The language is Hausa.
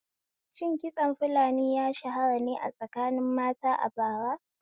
Shin kitson fulani ya shahara ne a tsakanin mata a bara?